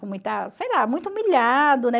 Com muita, sei lá, muito humilhado, né?